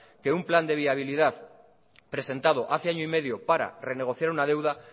que un plan de viabilidad presentado hace año y medio para renegociar una deuda